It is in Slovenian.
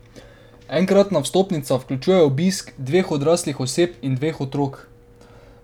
Enkratna vstopnica vključuje obisk dveh odraslih oseb in dveh otrok.